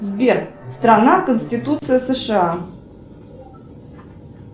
сбер страна конституция сша